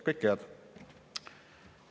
Kõike head!